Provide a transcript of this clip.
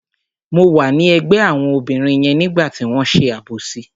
Mo wà ní ẹ̀gbẹ́ àwọn obìnrin yẹn nígbà tí wọ́n ṣe àbòsí.